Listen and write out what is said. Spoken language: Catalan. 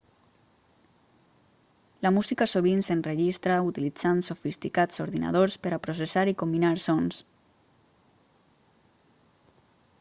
la música sovint s'enregistra utilitzant sofisticats ordinadors per a processar i combinar sons